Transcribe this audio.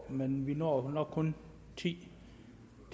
men vi når nok kun ti